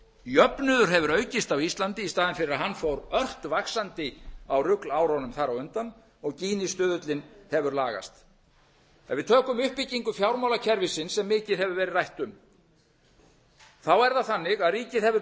jöfnuður hefur aukist á íslandi í staðinn fyrir að hann fór ört vaxandi á ruglárunum þar á undan og gínistuðullinn hefur lagast ef við tökum uppbyggingu fjármálakerfisins sem mikið hefur verið rætt um þá er það þannig að ríkið hefur